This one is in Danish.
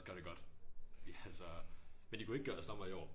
Gør det godt altså men de kunne ikke gøre os dommere i år